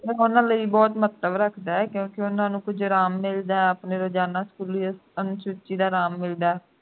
ਉਨ੍ਹਾਂ ਲਈ ਬਹੁਤ ਮਹੱਤਵ ਰੱਖਦਾ ਹੈ ਕਿਉਂਕਿ ਉਨ੍ਹਾਂ ਨੂੰ ਕੁਝ ਆਰਾਮ ਮਿਲਦਾ ਹੈ ਆਪਣੇ ਰੋਜ਼ਾਨਾ ਸਕੂਲੀ ਅਨੂਸੁਚੀ ਦਾ ਆਰਾਮ ਮਿਲਦਾ ਹੈ